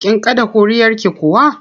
Kin kaɗa ƙuri'arki kuwa?